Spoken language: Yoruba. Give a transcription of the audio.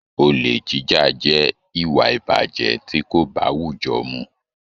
Ole jíjà jẹ ìwà ìbàjẹ́ tí kò báwújọ́ mu.